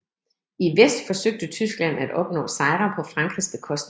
I vest forsøgte Tyskland at opnå sejre på Frankrigs bekostning